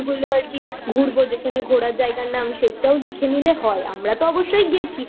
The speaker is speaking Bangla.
গুলো আর কি ঘুরবো যেখানে ঘোরার জায়গার নাম সেটাও লিখে নিলে হয় আমরা তো অবশ্যই গেছি